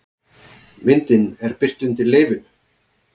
Myndin er birt undir leyfinu